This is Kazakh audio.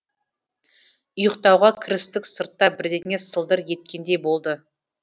ұйықтауға кірістік сыртта бірдеңе сылдыр еткендей болды